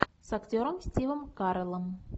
с актером стивом кареллом